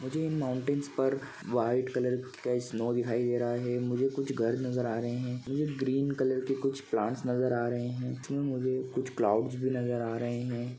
मुझे इन माउंटेन्स पर वाइट कलर का स्नो दिखाई दे रहा है मुझे कुछ घर नज़र आ रहे है मुझे ग्रीन कलर के कुछ प्लांट्स नज़र आ रहे है मुझे कुछ क्लाउड्स भी नज़र आ रहे है।